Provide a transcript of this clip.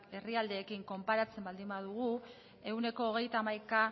herrialdeekin konparatzen baldin badugu ehuneko hogeita hamaikako